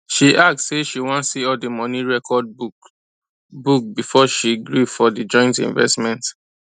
she ask say she wan see all the money records book book before she gree for the joint investment